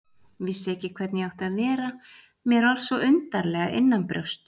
Vissi ekki hvernig ég átti að vera, mér var svo undarlega innanbrjósts.